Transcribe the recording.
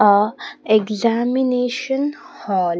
A examination hall.